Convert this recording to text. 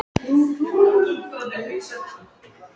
Hann hafði sagt þetta og Grímur hafði verið honum sammála.